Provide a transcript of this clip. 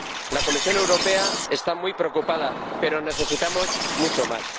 La Comisión Europea está muy preocupada, pero necesitamos mucho más.